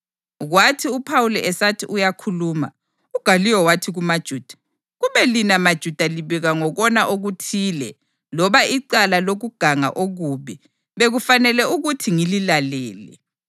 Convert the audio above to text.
Kwathi uPhawuli esathi uyakhuluma, uGaliyo wathi kumaJuda, “Kube lina maJuda libika ngokona okuthile loba icala lokuganga okubi, bekufanele ukuthi ngililalele.